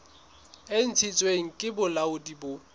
e ntshitsweng ke bolaodi bo